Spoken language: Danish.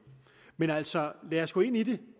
men altså lad os gå ind i det